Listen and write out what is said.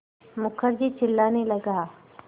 मुखर्जी चिल्लाने लगा